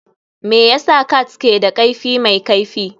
Me yasa cats ke da kaifi mai kaifi?